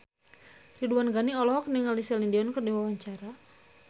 Ridwan Ghani olohok ningali Celine Dion keur diwawancara